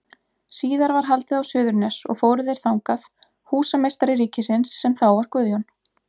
Síðar var haldið á Suðurnes og fóru þeir þangað, húsameistari ríkisins, sem þá var Guðjón